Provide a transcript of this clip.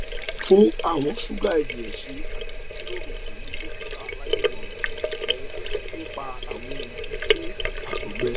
tun awọn suga ẹjẹ ṣe ati jiroro pẹlu dokita alamọran rẹ nipa awọn oogun fun àtọgbẹ